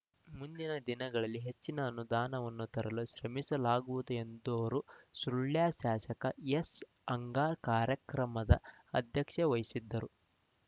ಮುಂದಿನ ದಿನಗಳಲ್ಲಿ ಹೆಚ್ಚಿನ ಅನುದಾನವನ್ನು ತರಲು ಶ್ರಮಿಸಲಾಗುವುದು ಎಂದರು ಸುಳ್ಯ ಶಾಸಕ ಎಸ್ಅಂಗಾರ್ ಕಾರ್ಯಕ್ರಮದ ಅಧ್ಯಕ್ಷತೆ ವಹಿಸಿದ್ದರು